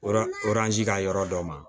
Oranzi ka yɔrɔ dɔ ma